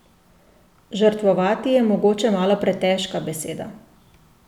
Žrtvovati je mogoče malo pretežka beseda.